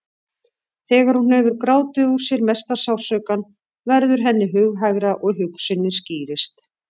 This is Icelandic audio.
Þegar hún hefur grátið úr sér mesta sársaukann verður henni hughægra og hugsunin skýrist.